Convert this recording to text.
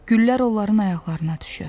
Güllər onların ayaqlarına düşür.